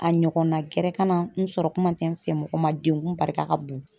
A ɲɔgɔnna gɛrɛ ka na n sɔrɔ kuma tɛ n fɛmɔgɔ ma degun barika ka bon.